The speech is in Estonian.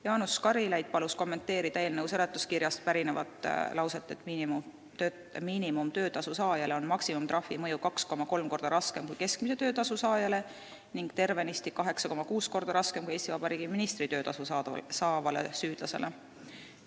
Jaanus Karilaid palus kommenteerida eelnõu seletuskirja lauset: "Miinimumtöötasu saajale on maksimumtrahvi mõju 2,3 korda raskem kui keskmise töötasu saajale ning tervenisti 8,6 korda raskem kui Eesti Vabariigi ministri töötasu saavale süüdlasele.